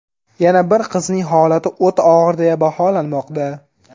Yana bir qizning holati o‘ta og‘ir deya baholanmoqda.